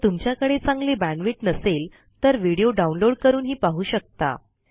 जर तुमच्याकडे चांगली बॅण्डविड्थ नसेल तर व्हिडिओ डाउनलोड करूनही पाहू शकता